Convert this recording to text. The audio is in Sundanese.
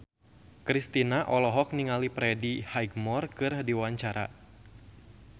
Kristina olohok ningali Freddie Highmore keur diwawancara